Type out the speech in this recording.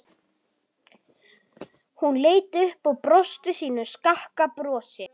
Hún leit upp og brosti sínu skakka brosi.